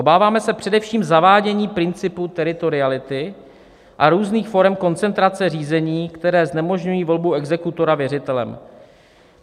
Obáváme se především zavádění principu teritoriality a různých forem koncentrace řízení, které znemožňují volbu exekutora věřitelem.